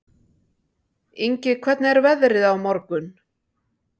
Ingi, hvernig er veðrið á morgun?